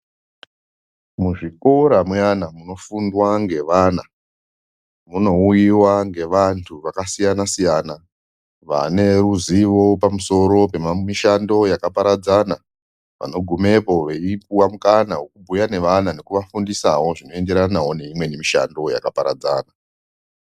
Muzvikora muyana munofundwa ngevana munouyiva ngevantu vakasiyana-siyana. vaneruzivo pamusiro pemishando yakaparadzana. Vanogumepo veipuva mukana vekubhuya nevana nekuvafundisavo zvinoenderanavo neimweni mishando yakaparadzana.